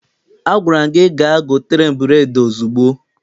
Agwara m gị gaa gotere m bureedi ozugbo!